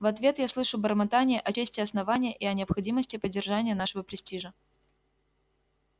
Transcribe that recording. в ответ я слышу бормотание о чести основания и о необходимости поддержания нашего престижа